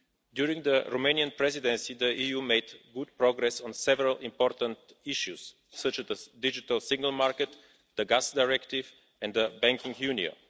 During the Romanian Presidency, the EU made good progress on several important issues such as the digital single market, the Gas Directive and the Banking Union.